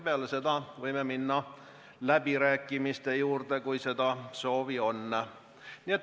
Peale seda võime minna läbirääkimiste juurde, kui on soovi.